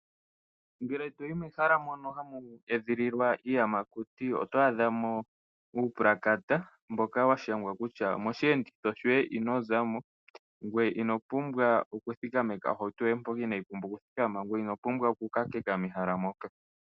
Ngele toyi mehala mono hamu edhililwa iiyamakuti oto adha mo uupulakata mboka wa shangwa kutya mosheenditho shoye ino zamo, ngweye ino pumbwa oku thikameka ohauto yoye mpoka inaayi pumbwa oku thikama, ngweye ino pumbwa oku kakeka mehala moka.